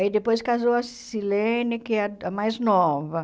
Aí depois casou a Silene, que é a a mais nova.